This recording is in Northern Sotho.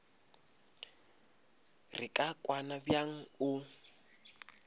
re ka kwana bjang o